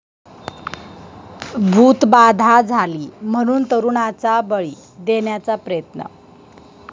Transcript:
भूतबाधा झाली म्हणून तरूणाचा बळी देण्याचा प्रयत्न